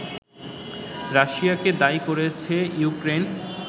রাশিয়াকে দায়ী করেছে ইউক্রেন